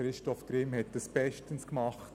Christoph Grimm hat dies bestens gemacht.